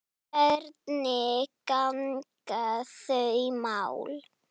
Hvernig ganga þau mál?